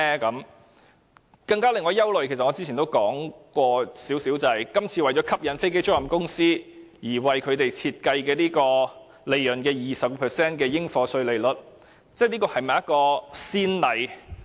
令我更為憂慮的是，正如我較早前稍微提到，今次為了吸引飛機租賃公司而為他們設計的利潤 20% 的應課稅款額，這會否成為先例？